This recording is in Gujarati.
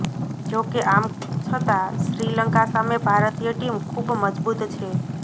જોકે આમ છતાં શ્રીલંકા સામે ભારતીય ટીમ ખૂબ મજબૂત છે